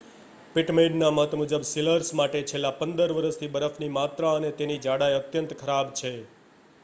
પિટમેનના મત મુજબ સીલર્સ માટે છેલ્લા 15 વરસથી બરફની માત્રા અને તેની જાડાઈ અત્યંત ખરાબ છે